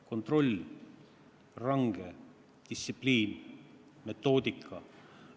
Kontroll, range distsipliin, metoodika.